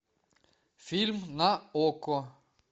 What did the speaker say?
фильм на окко